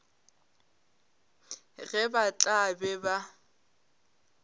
ge ba tla be ba